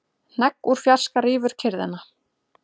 Hnegg úr fjarska rýfur kyrrðina.